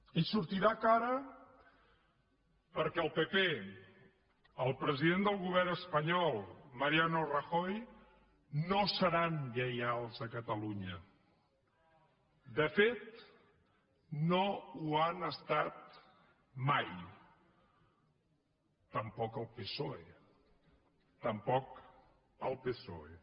i sortirà cara perquè el pp i el president del govern espanyol mariano rajoy no seran lleials a catalunya de fet no ho han estat mai tampoc el psoe tampoc el psoe